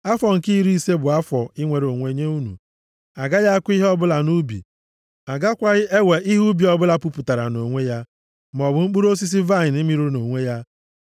Afọ nke iri ise bụ afọ inwere onwe nye unu. A gaghị akụ ihe ọbụla nʼubi, a gakwaghị ewe ihe ubi ọbụla puputara nʼonwe ya, maọbụ mkpụrụ osisi vaịnị mịrị nʼonwe ya.